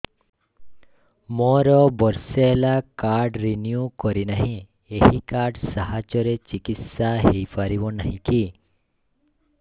ମୋର ବର୍ଷେ ହେଲା କାର୍ଡ ରିନିଓ କରିନାହିଁ ଏହି କାର୍ଡ ସାହାଯ୍ୟରେ ଚିକିସୟା ହୈ ପାରିବନାହିଁ କି